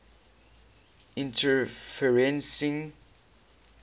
interferencing